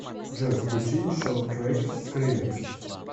джой включи шоу трэкс скриллекс